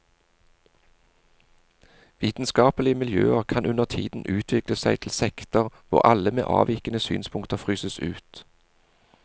Vitenskapelige miljøer kan undertiden utvikle seg til sekter hvor alle med avvikende synspunkter fryses ut.